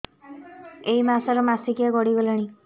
ଏଇ ମାସ ର ମାସିକିଆ ଗଡି ଗଲାଣି